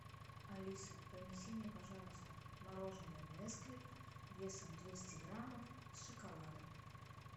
алиса принеси мне пожалуйста мороженое несквик весом двести граммов с шоколадом